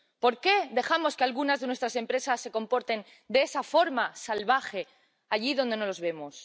¿Por qué dejamos que algunas de nuestras empresas se comporten de esa forma salvaje, allí donde no las vemos?